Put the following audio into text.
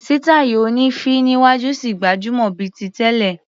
Sítáì oní féé níwájú ṣì gbajúmọ̀ bíi ti tẹ́lẹ̀.